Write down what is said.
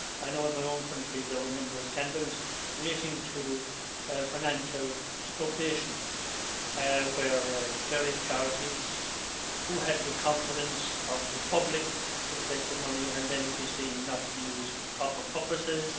I know that in my own country there were a number of scandals relating to financial misappropriation, where various charities, who had the confidence of the public, were collecting money and then it was seen not to be used for the proper purposes.